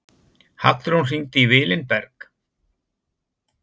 Hallrún, hringdu í Vilinberg.